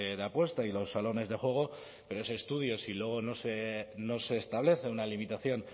de apuestas y los salones de juego pero ese estudio si luego no se establece una limitación